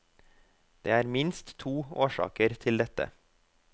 Det er minst to årsaker til dette.